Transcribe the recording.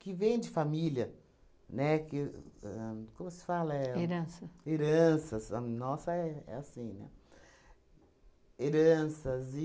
que vem de família, né, que ahn, como se fala é? Herança. Heranças. A nossa é é assim, né? Heranças